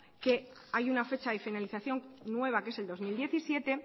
que hay una fecha de finalización nueva que es el dos mil diecisiete